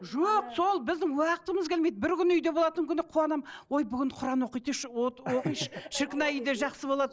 жоқ сол біздің уақытымыз келмейді бір күн үйде болатын күні қуанамын ой бүгін құран оқиыншы шіркін ай үйде жақсы болады